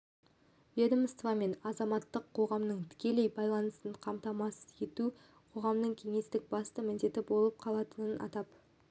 ведомство мен азаматтық қоғамның тікелей байланысын қамтамасыз ету қоғамдық кеңестің басты міндеті болып қалатынын атап